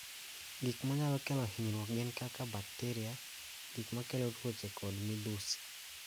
Gik ma nyalo kelo hinyruok gin kaka bakteria, gik makelo tuoche kod midhusi.